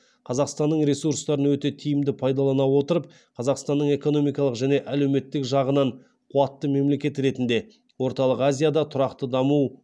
қазақстанның ресурстарын өте тиімді пайдалана отырып қазақстанның экономикалық және әлеуметтік жағынан қуатты мемлекет ретінде орталық азияда тұрақты даму